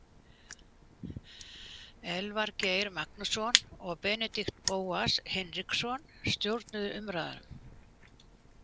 Elvar Geir Magnússon og Benedikt Bóas Hinriksson stjórnuðu umræðum.